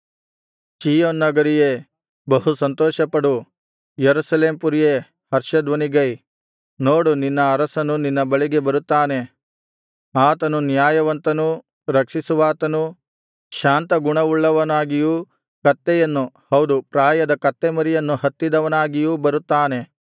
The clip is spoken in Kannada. ಚೀಯೋನ್ ನಗರಿಯೇ ಬಹು ಸಂತೋಷಪಡು ಯೆರೂಸಲೇಮ್ ಪುರಿಯೇ ಹರ್ಷಧ್ವನಿಗೈ ನೋಡು ನಿನ್ನ ಅರಸನು ನಿನ್ನ ಬಳಿಗೆ ಬರುತ್ತಾನೆ ಆತನು ನ್ಯಾಯವಂತನೂ ರಕ್ಷಿಸುವಾತನೂ ಶಾಂತಗುಣವುಳ್ಳವನಾಗಿಯೂ ಕತ್ತೆಯನ್ನು ಹೌದು ಪ್ರಾಯದ ಕತ್ತೆ ಮರಿಯನ್ನು ಹತ್ತಿದವನಾಗಿಯೂ ಬರುತ್ತಾನೆ